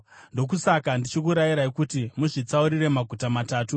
Ndokusaka ndichikurayirai kuti muzvitsaurire maguta matatu.